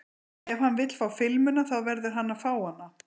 Ef hann vill fá filmuna þá verður hann að fá hana.